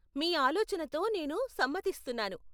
మీ ఆలోచనతో నేను సమ్మతిస్తున్నాను.